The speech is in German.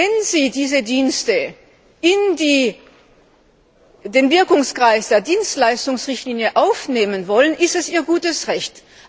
Wenn sie diese Dienste in den Wirkungskreis der Dienstleistungsrichtlinie aufnehmen wollen, ist das ihr gutes Recht.